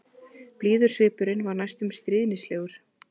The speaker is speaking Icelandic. Blíður svipurinn var næstum stríðnislegur.